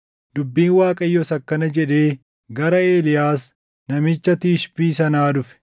Dubbiin Waaqayyoos akkana jedhee gara Eeliyaas namicha Tishbii sanaa dhufe: